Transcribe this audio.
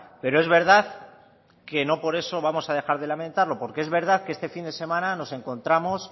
pero es verdad que no por eso vamos a dejar de lamentarlo porque es verdad que este fin de semana nos encontramos